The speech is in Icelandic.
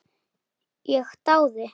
Ég dáði